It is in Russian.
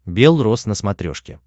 бел рос на смотрешке